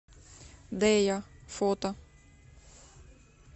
дея фото